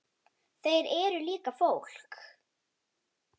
Þeir eru líka fólk.